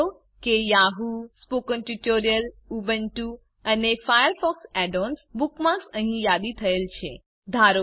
નોંધ લો કે યાહૂ સ્પોકન ટ્યુટોરિયલ ઉબુન્ટુ અને ફાયરફોક્સ add ઓએનએસ બુકમાર્ક્સ અંહિ યાદી થયેલ છે